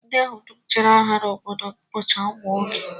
Ndị ahụ dum jere agha n'obodo m bụcha ụmụ nwoke